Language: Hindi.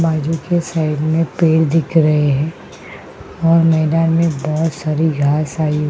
बाजू के साइड में पेड़ दिख रहे हैं और मैदान में भोत सारी घास आ --